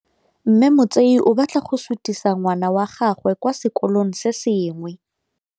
Mme Motsei o batla go sutisa ngwana wa gagwe kwa sekolong se sengwe.